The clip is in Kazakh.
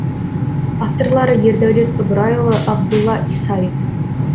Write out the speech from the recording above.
авторлары ердәулет ыбырайұлы абдулла исаев